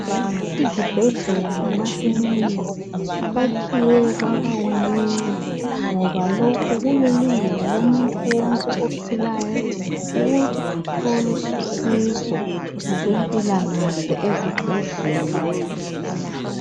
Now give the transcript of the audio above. Izibhedlela lamakilinika kwakhiwe kwaba kunengi ngoba lokhu kulilungelo lomuntu wonke ophilayo ukuthi athole usizo ngokwempilakahle ezibhedlela.